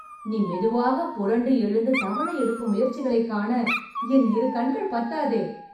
நீ மெதுவாக புரண்டு எழுந்து தவழ எடுக்கும் முயற்சிகளைக் காண, என் இரு கண்கள் பத்தாதே...